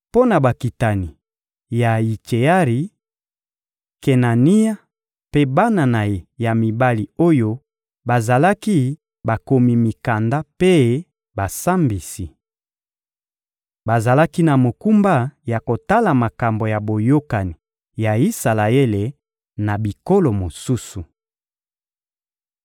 Mpo na bakitani ya Yitseari: Kenania mpe bana na ye ya mibali oyo bazalaki bakomi mikanda mpe basambisi. Bazalaki na mokumba ya kotala makambo ya boyokani ya Isalaele na bikolo mosusu.